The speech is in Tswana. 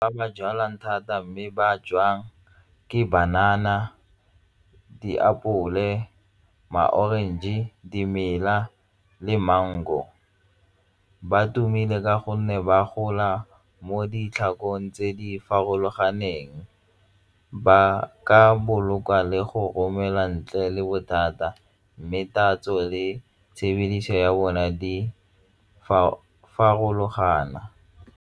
Ba ba jalwang thata mme ba jwang ke banana, diapole, ma-orange, dimela le mango. Ba tumile ka gonne ba gola mo ditlhakong tse di farologaneng, ba ka boloka le go romela ntle le bothata mme tatso le tshebediso ya bone di farologana.